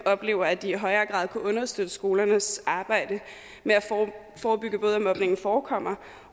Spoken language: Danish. oplever at de i højere grad kunne understøtte skolernes arbejde med at forebygge både at mobningen forekommer